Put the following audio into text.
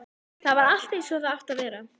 Þar var allt einsog það átti að vera.